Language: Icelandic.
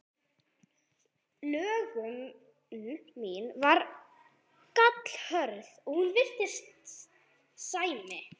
Löngun mín var gallhörð og hún virtist sæmi